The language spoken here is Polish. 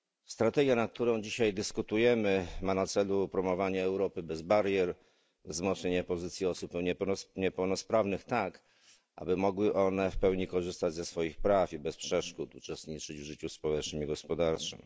Strategia, nad którą dzisiaj dyskutujemy, ma na celu promowanie Europy bez barier, wzmocnienie pozycji osób niepełnosprawnych tak, aby mogły one w pełni korzystać ze swoich praw i bez przeszkód uczestniczyć w życiu społecznym i gospodarczym.